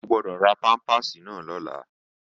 O gbọ́dọ̀ ra pámpàsì náà lọ́la!